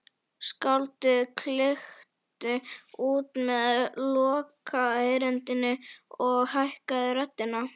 Skáldið klykkti út með lokaerindinu og hækkaði röddina